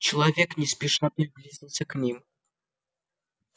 человек не спеша приблизился к ним